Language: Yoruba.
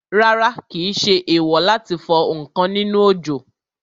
Rárá, kìí ṣe èèwò láti fọ ǹkan nínú òjò